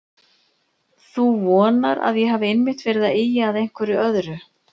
Þú vonar að ég hafi einmitt verið að ýja að einhverju öðru.